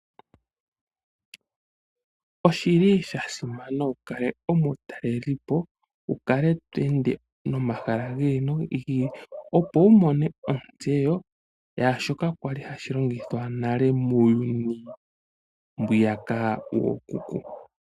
Oshi li sha simana wu kale omutalelipo, wu kale to ende nomahala gi ili nogi ili opo wu mone ontseyo yaashoka kwali hashi longithwa nale muuyuni mbwiyaka wookuku.